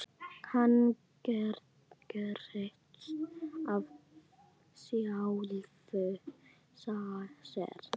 Hann gerist af sjálfu sér.